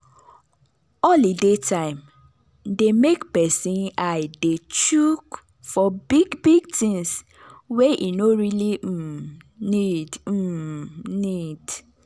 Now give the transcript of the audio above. holiday time dey make person eye dey chook for big big things wey e no really um need um need